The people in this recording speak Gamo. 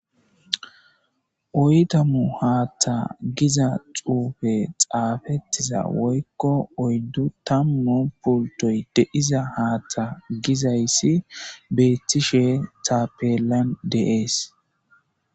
oydu tamu haaththa giza xuufe xaafettiza woykko oyddu tammo pultoy deiza haaththa gizayssi beethtishe taapellan deees